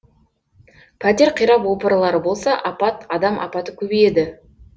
пәтер қирап опырылар болса апат адам апаты көбейеді